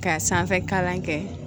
Ka sanfɛ kalan kɛ